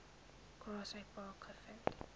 grassy park gevind